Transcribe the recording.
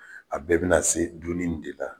A bɛɛ bina se dun nin de la